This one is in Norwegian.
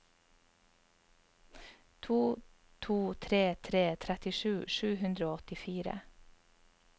to to tre tre trettisju sju hundre og åttifire